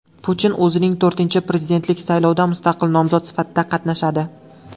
Putin o‘zining to‘rtinchi prezidentlik saylovida mustaqil nomzod sifatida qatnashadi.